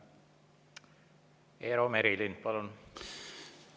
Eero Merilind, palun!